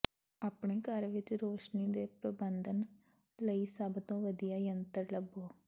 ਆਪਣੇ ਘਰ ਵਿੱਚ ਰੋਸ਼ਨੀ ਦੇ ਪ੍ਰਬੰਧਨ ਲਈ ਸਭ ਤੋਂ ਵਧੀਆ ਯੰਤਰ ਲੱਭੋ